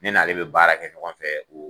Ne n'ale bɛ baara kɛ ɲɔgɔn fɛ.